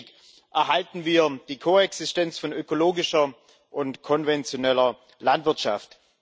Gleichzeitig erhalten wir die Koexistenz von ökologischer und konventioneller Landwirtschaft.